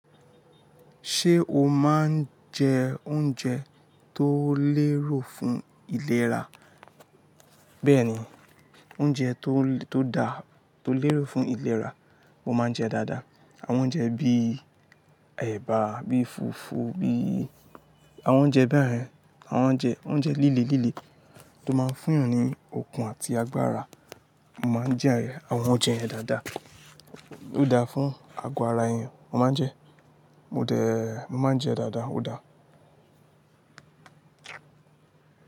Ṣé o máa ń jẹ oúnjẹ tó lérò fún ìlera? Bẹ́ẹ̀ni, oúnjẹ tó da, tó lérò fún ìlera, mo máa ń jẹ dáadáa. Àwọn oúnjẹ bí ẹ̀bà, bí fùfú, bí àwọn oúnjẹ ba yen, àwọn oúnjẹ líle líle tó máa ń fún èèyàn ní okun àti agbára. Mo máa ń jẹ àwọn oúnjẹ yẹn dáadáa. Ó dáa fún àgọ́ ara èèyàn, mo máa ń jẹ. Mo máa ń jẹ dáadáa, ó dáa.